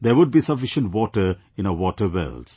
There would be sufficient water in our waterwells